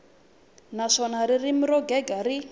naswona ririmi ro gega ri